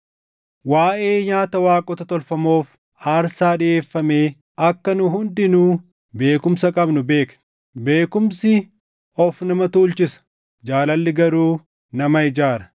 Waaʼee nyaata waaqota tolfamoof aarsaa dhiʼeeffamee akka nu hundinuu beekumsa qabnu beekna. Beekumsi of nama tuulchisa; jaalalli garuu nama ijaara.